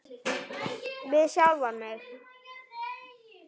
Við sjálfan mig.